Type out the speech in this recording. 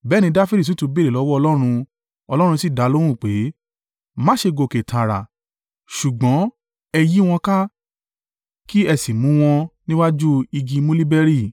Bẹ́ẹ̀ ni Dafidi sì tún béèrè lọ́wọ́ Ọlọ́run, Ọlọ́run sì dalóhùn pé, “Má ṣe gòkè tààrà, ṣùgbọ́n ẹ yí wọn ká, kí ẹ sì mú wọn níwájú igi muliberi.